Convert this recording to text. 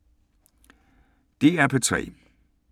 DR P3